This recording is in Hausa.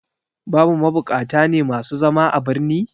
Babu mabukata ne masu zama a birni?